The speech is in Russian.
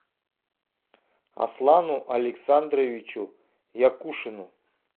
аслану александровичу якушину